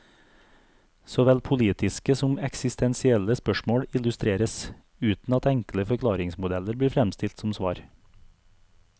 Såvel politiske som eksistensielle spørsmål illustreres, uten at enkle forklaringsmodeller blir fremstilt som svar.